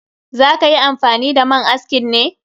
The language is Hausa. Za ka yi amfani da man askin ne?